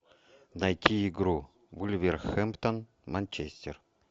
найти игру вулверхэмптон манчестер